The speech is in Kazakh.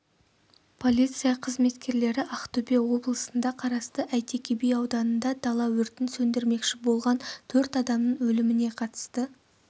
полиция қызметкерлерлері ақтөбе облысына қарасты әйтеке би ауданында дала өртін сөндірмекші болған төрт адамның өліміне қатысты